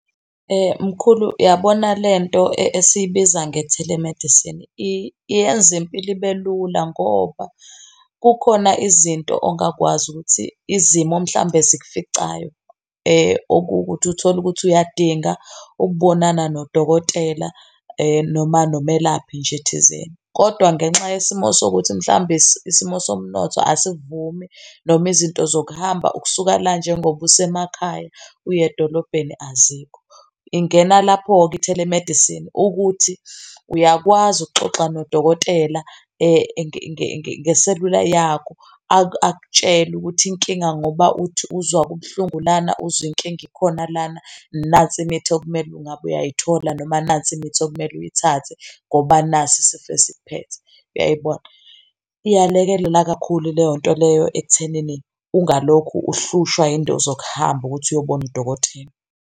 Mkhulu, yabona lento esiyibiza nge-telemedicine, iyenza impilo ibe lula ngoba kukhona izinto ongakwazi ukuthi izimo mhlawumbe zikuficayo okuwukuthi uthole ukuthi uyadinga ukubonana nodokotela noma nomelaphi nje thizeni, kodwa ngenxa yesimo sokuthi mhlawumbe isimo somnotho asivumi, noma izinto zokuhamba ukusuka la njengoba usemakhaya uye edolobheni azikho. Ingena lapho-ke i-telemedicine ukuthi uyakwazi ukuxoxa nodokotela ngeselula yakho, akutshele ukuthi inkinga ngoba uthi uzwa kubuhlungu lana, uzwe inkinga ikhona lana, nansi imithi okumele ungabe uyayithola noma nansi imithi okumele uyithathe ngoba nasi isifiso isikuphethe, uyayibona? Iyalekelela kakhulu leyonto leyo ekuthenini ungalokhu uhlushwa iy'nto zokuhamba ukuthi uyobona udokotela.